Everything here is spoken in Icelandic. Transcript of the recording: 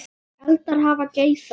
Eldar hafa geisað